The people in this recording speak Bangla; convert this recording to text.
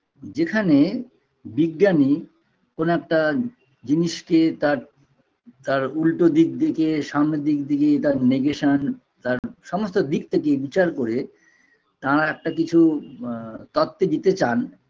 যেখানে বিজ্ঞানী কোনো একটা জিনিসকে তার তার উল্টো দিক দেকে সামনে দিক দেকে তার negation তার সমস্ত দিক থেকে বিচার করে তাঁরা একটা কিছু আ তত্ত্ব দিতে চান